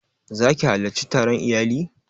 Za ki halarci taron iyali?